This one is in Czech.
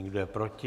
Kdo je proti?